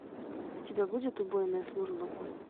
у тебя будет убойная служба